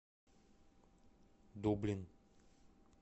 дублин